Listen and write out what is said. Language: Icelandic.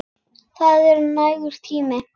Það er nægur tími.